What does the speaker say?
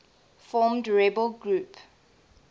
formed rebel group